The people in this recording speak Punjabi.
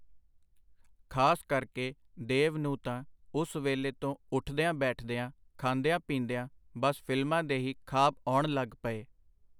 ਖਾਸ ਕਰਕੇ ਦੇਵ ਨੂੰ ਤਾਂ ਉਸ ਵੇਲੇ ਤੋਂ ਉਠਦਿਆਂ-ਬੈਠਦਿਆਂ, ਖਾਂਦਿਆਂ-ਪੀਂਦਿਆਂ ਬਸ ਫਿਲਮਾਂ ਦੇ ਹੀ ਖਾਬ ਆਉਣ ਲਗ ਪਏ.